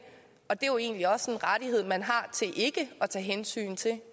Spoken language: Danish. det er jo egentlig også en rettighed man har til ikke at tage hensyn til det